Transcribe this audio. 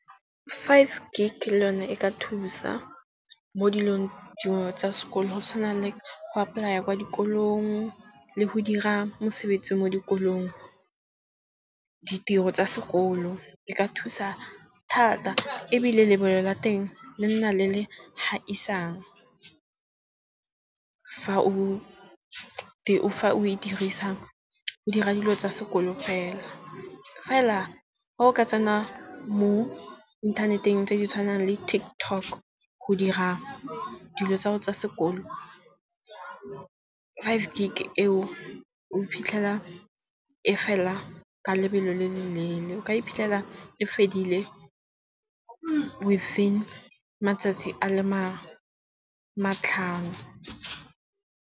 Five gig le yone e ka thusa mo dilong dingwe tsa sekolo, go tshwana le go apply-a kwa dikolong le go dira mosebetsi mo dikolong. Ditiro tsa sekolo e ka thusa thata ebile lebelo la teng le nna le le ha isang, fa o e dirisa o dira dilo tsa sekolo fela. Fela ga o ka tsena mo inthaneteng tse di tshwanang le TikTok go dira dilo tsa go tsa sekolo, five gig e o o iphitlhela e fela ka lebelo le le leele. O ka iphitlhela e fedile within matsatsi a le matlhano.